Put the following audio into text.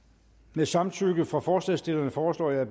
med samtykke fra forslagsstillerne foreslår jeg